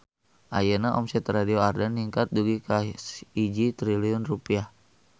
Ayeuna omset Radio Ardan ningkat dugi ka 1 triliun rupiah